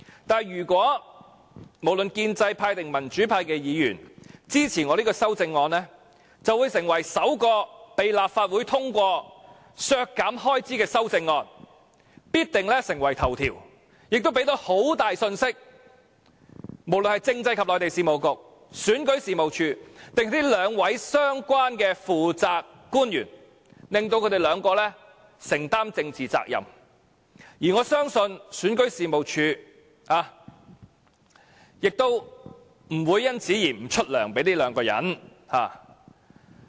但是，如果無論建制派或民主派議員均支持我這項修正案，便會成為首項被立法會通過削減開支的修正案，必定成為新聞頭條，亦能向政制及內地事務局、選舉事務處和兩位相關的負責官員發出很大的信息，令他們二人承擔政治責任，而我相信選舉事務處亦不會因此不發薪酬給二人。